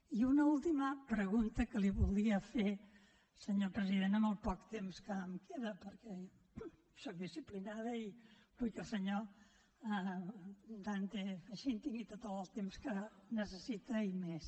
i una última pregunta que li voldria fer senyor president en el poc temps que em queda perquè sóc disciplinada i vull que el senyor dante fachin tingui tot el temps que necessita i més